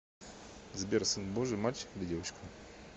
сбер сын божий мальчик или девочка